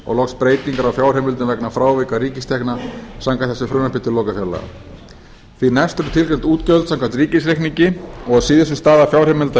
og loks breytingar á fjárheimildum vegna frávika ríkistekna samkvæmt þessu frumvarpi til lokafjárlaga því næst fyrrgreind útgjöld samkvæmt ríkisreikningi og að síðustu staða fjárheimilda